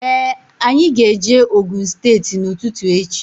Ee anyị ga -eje Ogun steeti n'ututu echi.